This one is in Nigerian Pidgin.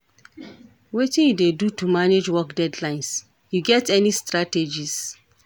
Wetin you dey do to manage work deadlines, you get any strategies?